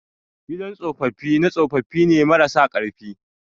gidan tsopapi na tsopapine mara sa karfi